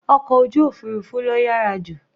Ọkọ̀ ojú òfurufú ló yàrá jù.